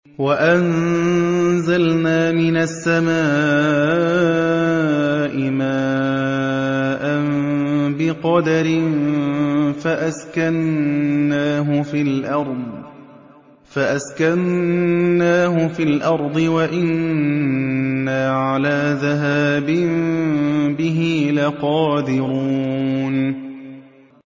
وَأَنزَلْنَا مِنَ السَّمَاءِ مَاءً بِقَدَرٍ فَأَسْكَنَّاهُ فِي الْأَرْضِ ۖ وَإِنَّا عَلَىٰ ذَهَابٍ بِهِ لَقَادِرُونَ